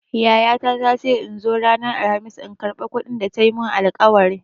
Yayata ta ce in zo ranar Alkhamis in karɓa kuɗin da ta yi min alƙawari.